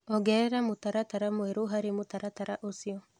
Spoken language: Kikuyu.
ongerera mũtaratara mwerũ harĩ mũtaratara ũcio